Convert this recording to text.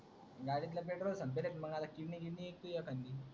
गाडीतील petrol संपेल तर येतानि